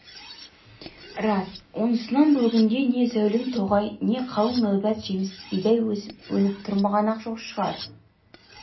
рас онысынан бұл күнде не зәулім тоғай не қалың нәубет жеміс бидай өсіп-өніп тұрмаған-ақ шығар